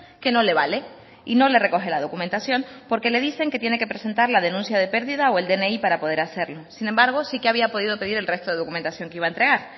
que no le vale y no le recoge la documentación porque le dicen que tiene que presentar la denuncia de pérdida o el dni para poder hacerlo sin embargo sí que había podido pedir el resto de documentación que iba a entregar